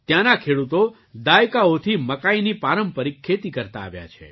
ત્યાંના ખેડૂતો દાયકાઓથી મકાઈની પારંપરિક ખેતી કરતા આવ્યા છે